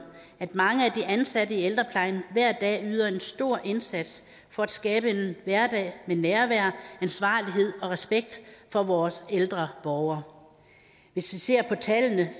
at mange af de ansatte i ældreplejen hver dag yder en stor indsats for at skabe en hverdag med nærvær ansvarlighed og respekt for vores ældre borgere hvis vi ser på tallene